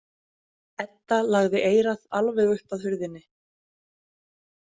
Edda lagði eyrað alveg upp að hurðinni.